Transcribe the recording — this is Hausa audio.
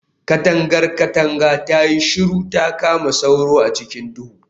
Katangar katanga tayi shiru ta kama sauro a cikin duhu